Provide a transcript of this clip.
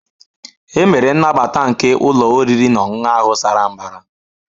E mere nnabata nke ụlọ oriri na ọṅụṅụ ahụ sara mbara